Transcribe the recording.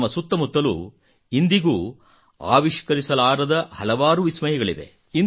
ನಮ್ಮ ಸುತ್ತಮುತ್ತಲೂ ಇಂದಿಗೂ ಆವಿಷ್ಕರಿಸಲಾರದ ಹಲವಾರು ವಿಸ್ಮಯಗಳಿವೆ